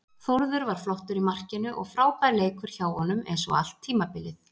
Þórður var flottur í markinu og frábær leikur hjá honum eins og allt tímabilið.